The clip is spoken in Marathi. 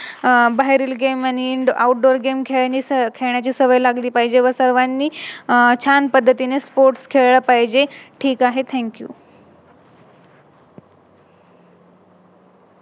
आह बाहेरील Game आणि Outdoor game खेळण्याची सवय लागली पाहिजे व सर्वांनी छान पद्धतीने Sports खेळले पाहिजे. ठीक आहे Thank you